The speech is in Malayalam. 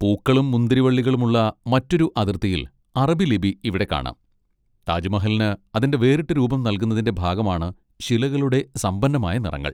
പൂക്കളും മുന്തിരിവള്ളികളും ഉള്ള മറ്റൊരു അതിർത്തിയിൽ അറബി ലിപി ഇവിടെ കാണാം, താജ്മഹലിന് അതിന്റെ വേറിട്ട രൂപം നൽകുന്നതിന്റെ ഭാഗമാണ് ശിലകളുടെ സമ്പന്നമായ നിറങ്ങൾ.